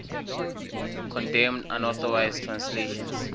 condemned unauthorized translations